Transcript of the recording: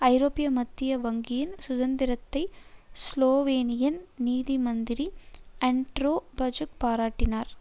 ஐரோப்பிய மத்திய வங்கியின் சுதந்திரத்தை ஸ்லோவேனியன் நிதிமந்திரி அண்ட்ரெ பஜூக் பாராட்டினார்